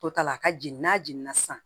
To ta la a ka jigin n'a jiginna sisan